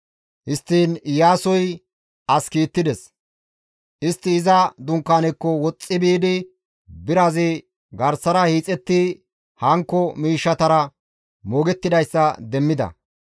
Histtiin Iyaasoy as kiittides; istti iza dunkaanekko woxxi biidi birazi garsara hiixetti hankko miishshatara moogettidayssa demmida.